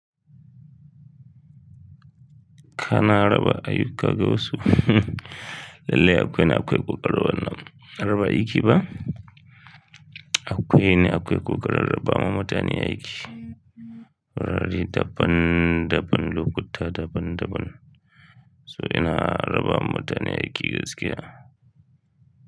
Kana raba ayuka ga wasu. Lallai akwai ni akwai kokari wannan raba aiki ba? Akwai ne akwai kokarin raba ma mutane aiki. Rari daban daban, lokuta daban daban. So ina raba ma mutane aiki gaskiya.